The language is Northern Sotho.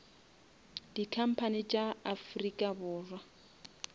di company tša afrika borwa